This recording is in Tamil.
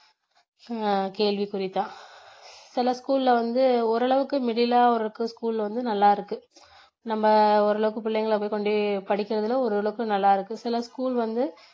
ஆஹ் கேள்வி குறிதான் சில school ல வந்து ஓரளவுக்கு middle ஆருக்கு school வந்து நல்லா இருக்கு நம்ப ஓரளவுக்கு புள்ளைங்களை போய் கொண்டு போய் படிக்கிறதுல ஓரளவுக்கு நல்லா இருக்கு சில school வந்து